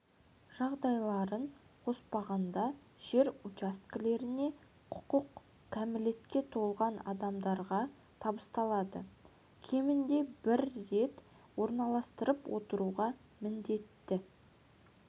жағдайларын қоспағанда жер учаскелеріне құқық кәмілетке толған адамдарға табысталады кемінде бір рет орналастырып отыруға міндетті